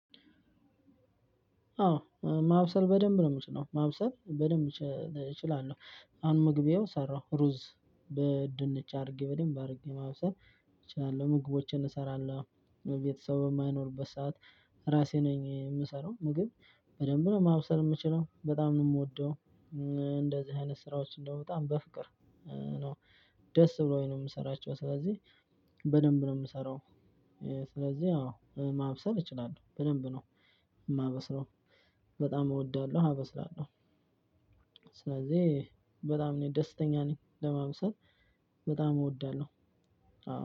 አዎ ማብሰል በደንብ ነው ምችለው ማብሰል በደንብ እችላለሁ። አሁን ምግብ ይኸው ሰራሁ ሩዝ በድንች አድርጌ በደንብ አድርጌ ማብሰል እችላለሁ። ምግቦችን እሰራለሁ ቤተሰብ በማይኖርበት ሰዓት ራሴ ነኝ የምሰራው ምግብ በደንብ ነው ማብሰል እምችለው በጣም ነው ምወደው። እንደዚህ አይነት ስራዎች እንደው በጣም በፍቅር ነው። ደስ ብሎኝ ነው ምሰራቸው ስለዚህ በደንብ ነው ምሰራው። ስለዚህ አዎ ማብሰል ይችላለው በደንብ ነው ማበስለው በጣም እወዳለሁ አበስላለሁ። ስለዚህ በጣም እኔ ደስተኛ ነኝ ለማብሰል በጣም እወዳለሁ።